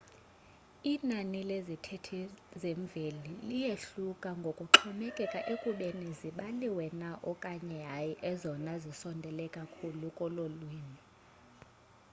inani lezithethi zemveli liyehluka ngokuxhomekeka ekubeni zibaliwe na okanye hayi ezona zisondele kakhulu kololwimi